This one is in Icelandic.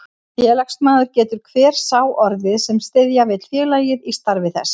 Félagsmaður getur hver sá orðið, sem styðja vill félagið í starfi þess.